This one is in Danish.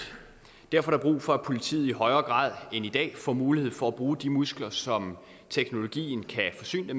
derfor er der brug for at politiet i højere grad end i dag får mulighed for at bruge de muskler som teknologien kan forsyne